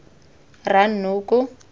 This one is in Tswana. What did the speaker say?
rranoko